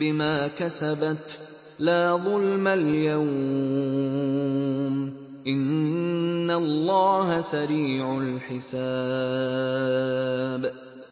بِمَا كَسَبَتْ ۚ لَا ظُلْمَ الْيَوْمَ ۚ إِنَّ اللَّهَ سَرِيعُ الْحِسَابِ